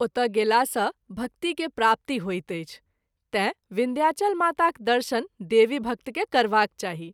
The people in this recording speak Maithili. ओतय गेला सँ भक्ति के प्राप्ति होइत अछि तैँ विन्ध्याचल माताक दर्शन देवी भक्त के करबाक चाही।